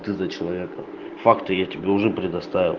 ты за человека факты я тебе уже придоставил